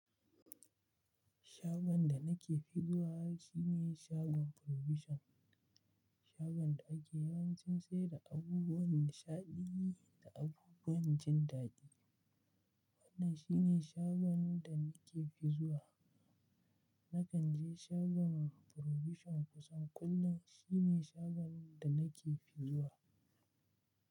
Shagon da nake fi zuwa shi ne shagon Provision. Shagon da ake yawancin sayar da abubuwan nishaɗi da abubuwan jin daɗi. Wannan shi ne shagon da nake fi zuwa. Nakan je shagon Provision kusan kullum. Shi ne shagon da nake fi zuwa.